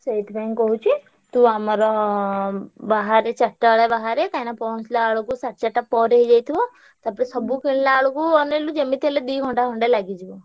ସେଇଥିପାଇଁ କହୁଛି ତୁ ଆମର ବାହାରେ ଚାରିଟା ବେଳେ ବାହାରେ କାହିଁକିନା ପହଁଞ୍ଚିଲା ବେଳକୁ ସାଢେ ଚାରିଟା ପରେ ହେଇଯାଇଥିବ। ତାପରେ ସବୁ କିଣିଲାବେଳକୁ ଅନେଇଲୁ ଯେମିତି ହେଲେ ଦି ଘଣ୍ଟା ଖଣ୍ଡେ ଲାଗିଯିବ।